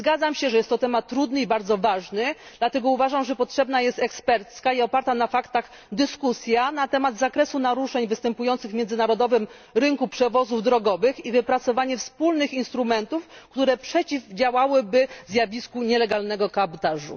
Zgadzam się, że jest to temat bardzo trudny i ważny, dlatego uważam, że potrzebna jest ekspercka i oparta na faktach dyskusja na temat zakresu naruszeń występujących na międzynarodowym rynku przewozów drogowych i wypracowanie wspólnych instrumentów, które przeciwdziałałyby zjawisku nielegalnego kabotażu.